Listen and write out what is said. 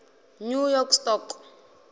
new york stock